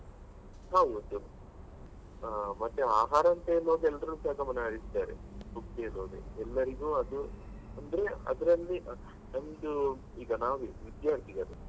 ಹೌದು ಆ ಮತ್ತೆ ಆಹಾರ ಅಂತ ಹೇಳುವಾಗ ಎಲ್ರು ಸಹ ಗಮನ ಹರಿಸ್ತಾರೆ ಎಲ್ಲರಿಗೂ ಅದು ಅಂದ್ರೆ ಅದ್ರಲ್ಲಿ ನಮ್ದು ಈಗ ನಾವೇ ವಿದ್ಯಾರ್ಥಿಗಳು.